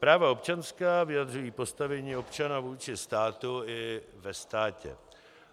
Práva občanská vyjadřují postavení občana vůči státu i ve státě.